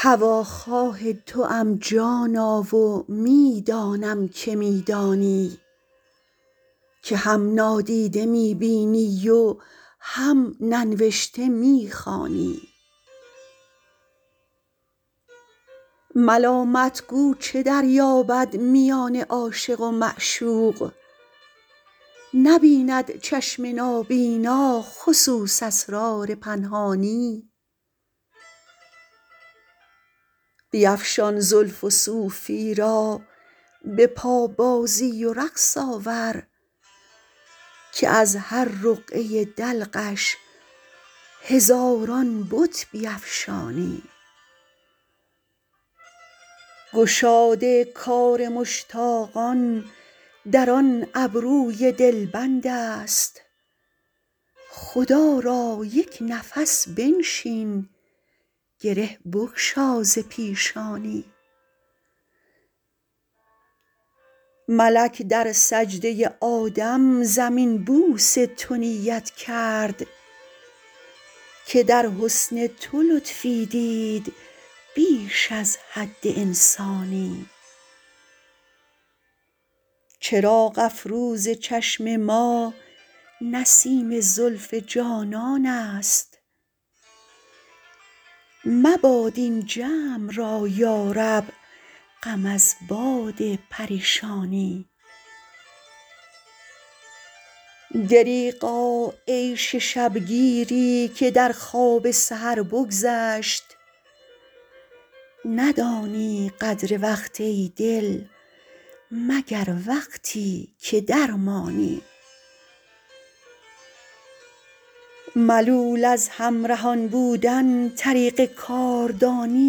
هواخواه توام جانا و می دانم که می دانی که هم نادیده می بینی و هم ننوشته می خوانی ملامت گو چه دریابد میان عاشق و معشوق نبیند چشم نابینا خصوص اسرار پنهانی بیفشان زلف و صوفی را به پابازی و رقص آور که از هر رقعه دلقش هزاران بت بیفشانی گشاد کار مشتاقان در آن ابروی دلبند است خدا را یک نفس بنشین گره بگشا ز پیشانی ملک در سجده آدم زمین بوس تو نیت کرد که در حسن تو لطفی دید بیش از حد انسانی چراغ افروز چشم ما نسیم زلف جانان است مباد این جمع را یا رب غم از باد پریشانی دریغا عیش شب گیری که در خواب سحر بگذشت ندانی قدر وقت ای دل مگر وقتی که درمانی ملول از همرهان بودن طریق کاردانی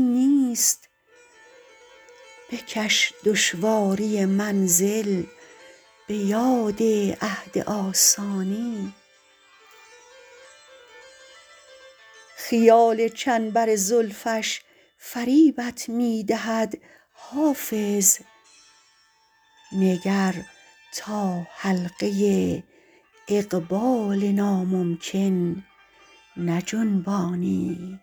نیست بکش دشواری منزل به یاد عهد آسانی خیال چنبر زلفش فریبت می دهد حافظ نگر تا حلقه اقبال ناممکن نجنبانی